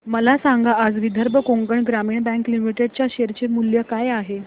मला सांगा आज विदर्भ कोकण ग्रामीण बँक लिमिटेड च्या शेअर चे मूल्य काय आहे